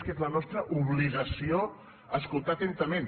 quina és la nostra obligació escoltar atentament